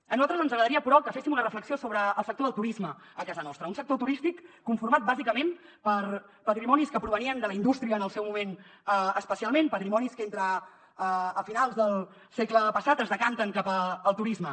a nosaltres ens agradaria però que féssim una reflexió sobre el sector del turisme a casa nostra un sector turístic conformat bàsicament per patrimonis que provenien de la indústria en el seu moment especialment patrimonis que entre finals del segle passat es decanten cap al turisme